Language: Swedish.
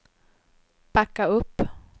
backa upp